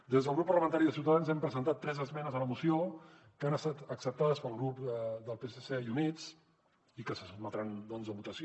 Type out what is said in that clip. des del grup parlamentari de ciutadans hem presentat tres esmenes a la moció que han estat acceptades pel grup del psc i units i que se sotmetran a votació